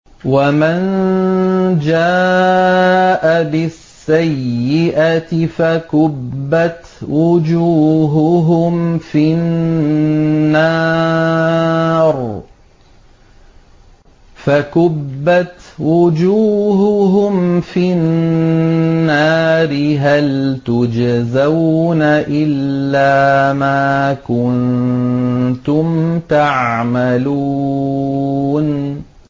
وَمَن جَاءَ بِالسَّيِّئَةِ فَكُبَّتْ وُجُوهُهُمْ فِي النَّارِ هَلْ تُجْزَوْنَ إِلَّا مَا كُنتُمْ تَعْمَلُونَ